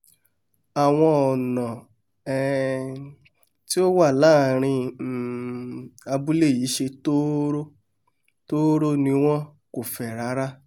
àwọn ọ̀nà um tí ó wà láàrin um abúlé yìí ṣẹ tóóró-tóóró ni wọn kò fẹ̀ rárá